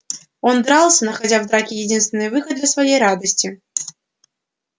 он дрался находя в драке единственный выход для своей радости